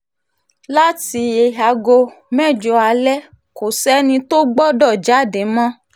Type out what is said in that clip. láti aago mẹ́jọ alẹ́ kò sẹ́ni tó gbọ́dọ̀ jáde mọ́